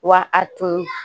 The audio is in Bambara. Wa a tun